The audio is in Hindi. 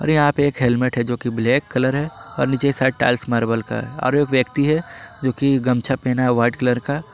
और यहाँ पर एक हेलमेट है जोकि ब्लैक कलर है और नीचे की साइड टाइल्स मार्बल का है और एक व्यक्ति है जोकि गमछा पहना है वाइट कलर का।